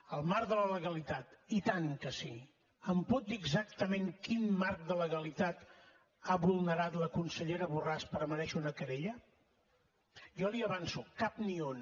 en el marc de la legalitat i tant que sí em pot dir exactament quin marc de legalitat ha vulnerat la consellera borràs per merèixer una querella jo l’hi avanço cap ni un